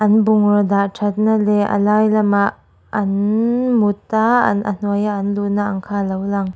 bungraw dah thatna leh a lai lamah an mut a a hnuaia an luhna ang kha a lo lang.